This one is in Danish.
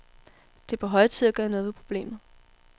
Det er på høje tid at gøre noget ved problemet.